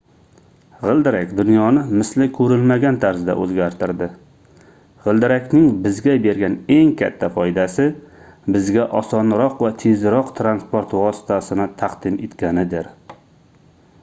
gʻildirak dunyoni misli koʻrilmagan tarzda oʻzgartirdi gʻildirakning bizga bergan eng katta foydasi bizga osonroq va tezroq transport vositasini taqdim etganidir